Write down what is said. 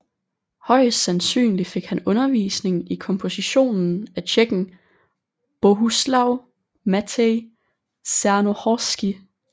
Højst sandsynligt fik han undervisning i komposition af tjekken Bohuslav Matěj Černohorský